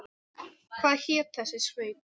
Hvað hét þessi sveit?